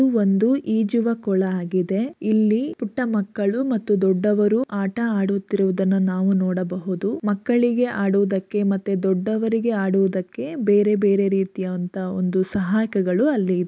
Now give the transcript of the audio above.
ಇದು ಒಂದು ಈಜುವ ಕೊಳ ಆಗಿದೆ ಇಲ್ಲಿ ಪುಟ್ಟ ಮಕ್ಕಳು ಮತ್ತು ದೊಡ್ಡವರು ಆಟ ಆಡುತ್ತಿರುವುದನ್ನ ನಾವು ನೋಡಬಹುದು ಮಕ್ಕಳಿಗೆ ಆಡುವುದಕ್ಕೆ ಮತ್ತೆ ದೊಡ್ಡವರಿಗೆ ಆಡುವುದಕ್ಕೆ ಬೇರೆ ಬೇರೆ ರೀತಿಯ ಅಂತ ಒಂದು ಅಲ್ಲಿ ಸಹಾಯಕಗಳು ಅಲ್ಲಿ ಇದೆ.